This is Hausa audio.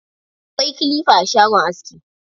Akwai kilifa a shagon aski.